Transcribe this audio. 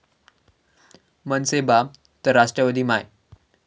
मनसे बाप तर राष्ट्रवादी माय'